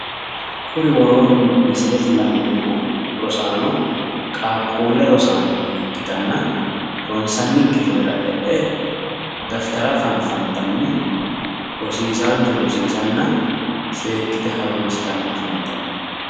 Kuri woroonni misilete la'neemmo rosaano, qaaqquulle rosaano ikitanna ronsanni kifilera e'e daftara fanfantanni rosiisaanchu rosiisanna seekkite harunssitanni afantanno.